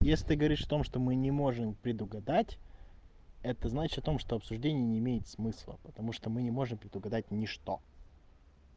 если ты говоришь в том что мы не можем предугадать это значит о том что обсуждение не имеет смысла потому что мы не можем предугадать ничто